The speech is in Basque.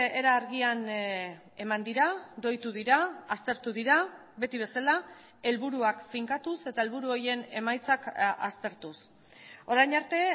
era argian eman dira doitu dira aztertu dira beti bezala helburuak finkatuz eta helburu horien emaitzak aztertuz orain arte